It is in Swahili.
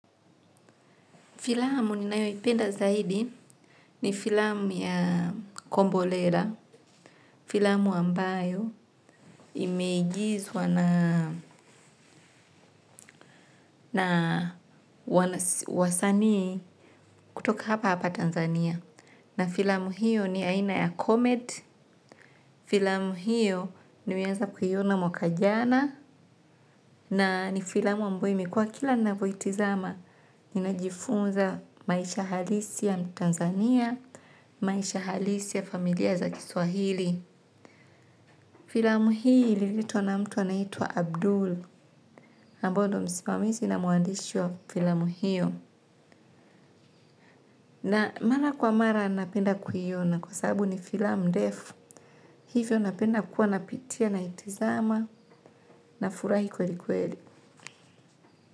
Filamu ninayoipenda zaidi ni filamu ya kombolela filamu ambayo imeigizwa na na wasanii kutoka hapa hapa Tanzania. Na filamu hiyo ni aina ya comedy, filamu hiyo nimeweza kuiona mwaka jana, na ni filamu ambayo imikuwa kila ninavyoitizama, ninajifunza maisha halisi ya Tanzania, maisha halisi ya familia za Kiswahili. Filamu hiyo ililetwa na mtu anaitwa Abdul, ambayo msimamizi na mwandishi wa filamu hiyo. Na mara kwa mara napenda kuiona kwa sabu ni filamu ndefu, hivyo napenda kuwa napitia naitizama nafurahi kweli kweli.